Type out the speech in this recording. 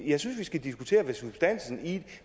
jeg synes vi skal diskutere substansen i